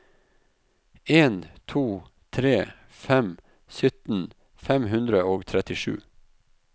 en to tre fem sytten fem hundre og trettisju